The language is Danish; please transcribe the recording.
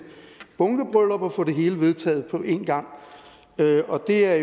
bunkebryllup og få det hele vedtaget på en gang og det er